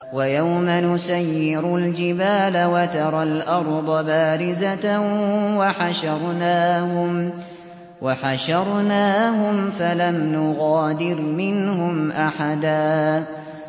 وَيَوْمَ نُسَيِّرُ الْجِبَالَ وَتَرَى الْأَرْضَ بَارِزَةً وَحَشَرْنَاهُمْ فَلَمْ نُغَادِرْ مِنْهُمْ أَحَدًا